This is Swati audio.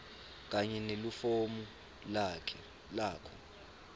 kanye nelifomu lakho